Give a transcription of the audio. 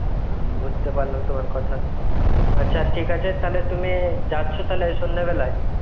উম বাজতে পাড়লাম তোমার কোথা. আছা ঠিক আছে তাহলে তুমি যাচো তাহলে সন্দে বেলই